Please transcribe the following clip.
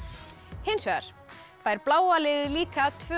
hins vegar fær bláa liðið líka tvö